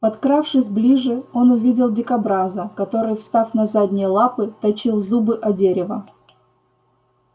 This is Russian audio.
подкравшись ближе он увидел дикобраза который встав на задние лапы точил зубы о дерево